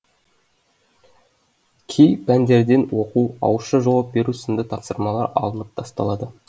кей пәндерден оқу ауызша жауап беру сынды тапсырмалар алынып тасталады